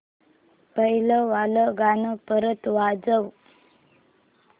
पहिलं वालं गाणं परत वाजव